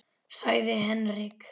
sagði Henrik.